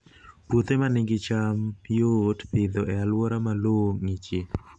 Puothe ma nigi cham yot Pidhoo e alwora ma lowo ng'ichie